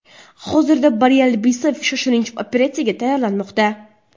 Hozirda Bari Alibasov shoshilinch operatsiyaga tayyorlanmoqda .